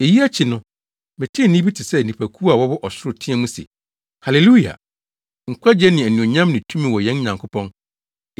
Eyi akyi no, metee nne bi te sɛ nnipakuw a wɔwɔ ɔsoro teɛ mu se, “Haleluya! Nkwagye ne anuonyam ne tumi wɔ yɛn Nyankopɔn,